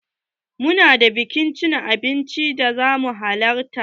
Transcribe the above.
Mu na da biki na cin abinci da za mu halarta.